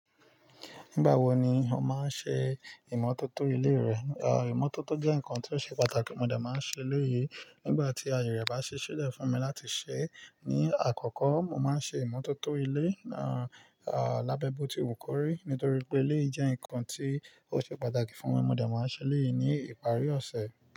Nígbà wo ni o máa ń ṣe ìmọ́tótó ilé rẹ? Imọ́tótó jẹ́ nǹkan tí ó ṣe pàtàkì, mo de máa ń ṣe elẹ́yì nígbà tí aye rẹ̀ bá ṣi ṣílẹ̀ fún mi láti ṣe. Ni àkọ́kọ́, mo máa ń ṣe ìmọ́tótó ilé, lábẹ́ boti wù kọ́rì nítorí pé eleyi jẹ́ nǹkan tí ó ṣe pàtàkì fún mi. Mo de máa ń ṣe eleyi ní ìparí ọ̀sẹ̀.